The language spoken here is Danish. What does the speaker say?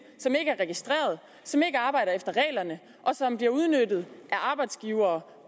som ikke er registreret som ikke arbejder efter reglerne og som bliver udnyttet af arbejdsgivere